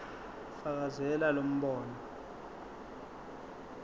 fakazela lo mbono